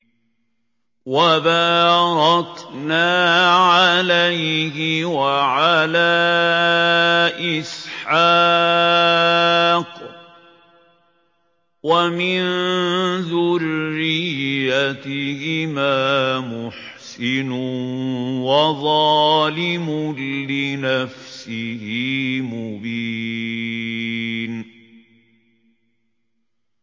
وَبَارَكْنَا عَلَيْهِ وَعَلَىٰ إِسْحَاقَ ۚ وَمِن ذُرِّيَّتِهِمَا مُحْسِنٌ وَظَالِمٌ لِّنَفْسِهِ مُبِينٌ